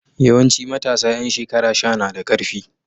Yawanci matasa ƴan shekara sha na da ƙarfi.